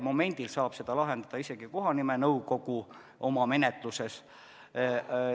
Momendil saab seda lahendada isegi kohanimenõukogu oma menetluse raames.